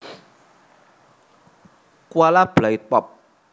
Kuala Belait Pop